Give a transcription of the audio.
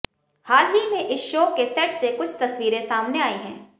हाल ही में इस शो के सेट से कुछ तस्वीरें सामने आईं हैं